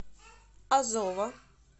азова